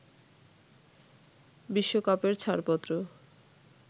বিশ্বকাপের ছাড়পত্র